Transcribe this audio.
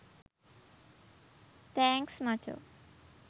thanks මචෝ